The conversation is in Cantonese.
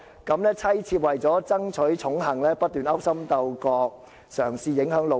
各妻妾為了爭取寵幸，不斷勾心鬥角......嘗試影響'老爺'。